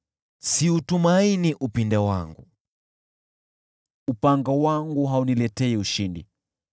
Siutumaini upinde wangu, upanga wangu hauniletei ushindi;